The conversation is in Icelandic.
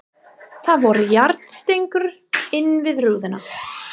Það voru járnstengur innan við rúðuna.